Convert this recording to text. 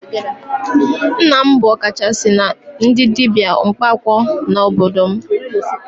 Nna m bụ ọkachasị na ndị dibia mkpaakwụkwọ n'obodo m